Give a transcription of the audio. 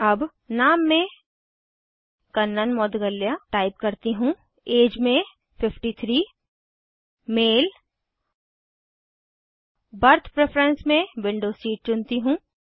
अब नाम में कन्नन मौद्गल्य टाइप करती हूँ एज में 53 मेल बर्थ प्रेफरेंस में विंडो सीट चुनती हूँ